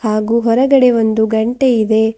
ಹಾಗು ಹೊರಗಡೆ ಒಂದು ಗಂಟೆ ಇದೆ.